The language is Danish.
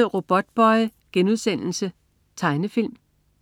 09.30 Robotboy.* Tegnefilm